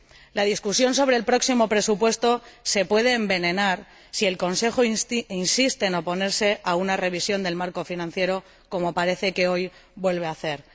El debate sobre el próximo presupuesto se puede envenenar si el Consejo insiste en oponerse a una revisión del Marco financiero, como parece que hoy vuelve a hacer.